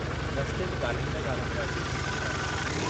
रस्ते में गाल्हाईंदा गाल्हाईंदा अची घर पहुता।